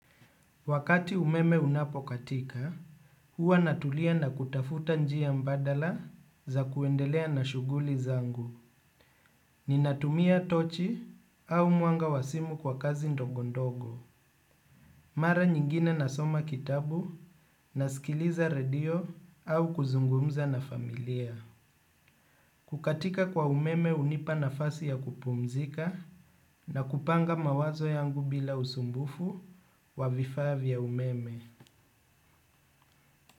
Wakati umeme unapokatika, huwa natulia na kutafuta njia mbadala za kuendelea na shuguli zangu. Ninatumia tochi au muanga wa simu kwa kazi ndongo ndogo. Mara nyingine nasoma kitabu nasikiliza radio au kuzungumza na familia. Kukatika kwa umeme unipa nafasi ya kupumzika na kupanga mawazo yangu bila usumbufu wa vifaa vya umeme.